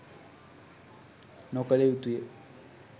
නොකළ යුතුය.